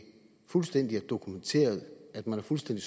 fuldstændig dokumenteret at man har fuldstændig